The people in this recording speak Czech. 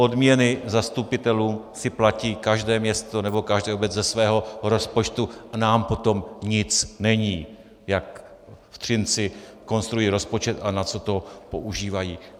Odměny zastupitelů si platí každé město nebo každá obec ze svého rozpočtu, nám po tom nic není, jak v Třinci konstruují rozpočet a na co to používají.